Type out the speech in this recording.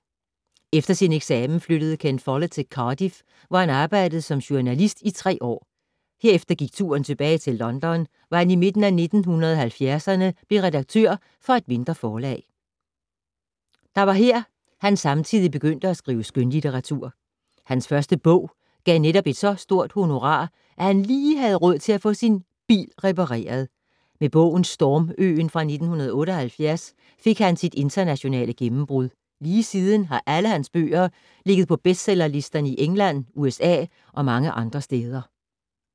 Efter sin eksamen flyttede Ken Follett til Cardiff, hvor han arbejdede som journalist i tre år. Herefter gik turen tilbage til London, hvor han i midten af 1970’erne blev redaktør for et mindre forlag. Der var her, han samtidig begyndte at skrive skønlitteratur. Hans første bog gav netop et så stort honorar, at han lige havde råd til at få sin bil repareret. Med bogen Storm-øen fra 1978 fik han sit internationale gennembrud. Lige siden har alle hans bøger ligget på bestsellerlisterne i England, USA og mange andre steder.